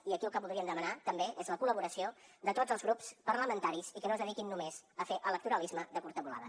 i aquí el que voldríem demanar també és la col·laboració de tots els grups parlamentaris i que no es dediquin només a fer electoralisme de curta volada